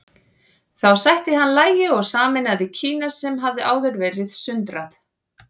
Þá sætti hann lagi og sameinaði Kína sem hafði áður verið sundrað.